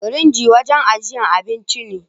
firinji wanjan ajjiyar abinci ne